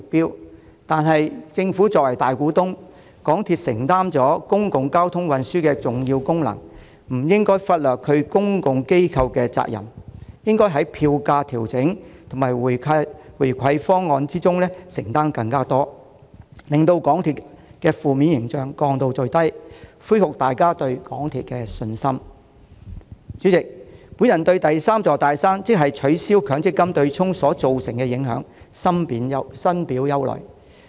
然而，港鐵既由政府作為大股東，又承擔公共交通運輸的重要功能，便不應忽略其公共機構的責任，應當在票價調整和回饋方案上作出更多承擔，從而盡量改善公司的負面形象，恢復大家對港鐵的信心。代理主席，我對第三座"大山"，即取消強積金對沖機制所造成的影響深表憂慮。